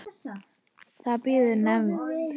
Það bíður í nefnd.